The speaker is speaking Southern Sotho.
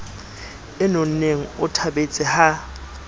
e nonneng o thabetse ha